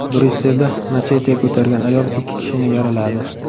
Bryusselda machete ko‘targan ayol ikki kishini yaraladi.